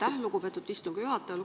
Aitäh, lugupeetud istungi juhataja!